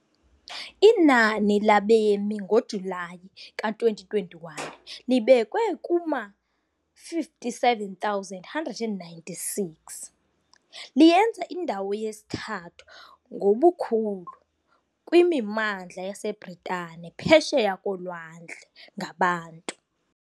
Inani labemi ngoJulayi ka-2021 libekwe kuma-57,196, liyenza indawo yesithathu ngobukhulu kwimimandla yaseBritane phesheya kolwandle ngabantu.